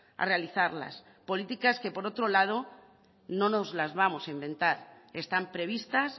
a realizarlas políticas que por otro lado no nos las vamos a inventar están previstas